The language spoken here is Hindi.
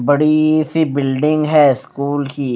बड़ी सी बिल्डिंग है स्कूल की--